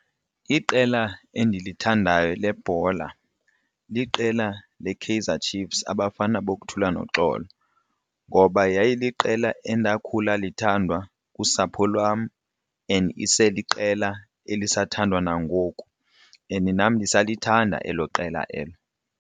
Iqela endilithandayo lebhola liqela leKaizer Chiefs Abafana Bothula Noxolo ngoba yayiliqela endakhula lithandwa kusapho lwam and iseliqela elisathandwa nangoku and nam ndisalithanda elo qela elo.